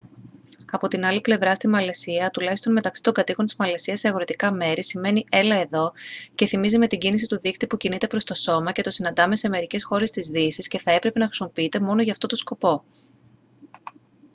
από την άλλη πλευρά στη μαλαισία τουλάχιστον μεταξύ των κατοίκων της μαλαισίας σε αγροτικά μέρη σημαίνει «έλα εδώ» και θυμίζει με την κίνηση του δείκτη που κινείται προς το σώμα και το συναντάμε σε μερικές χώρες της δύσης και θα έπρεπε να χρησιμοποιείται μόνο για αυτό το σκοπό